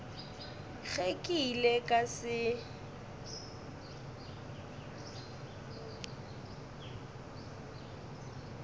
ge ke ile ka se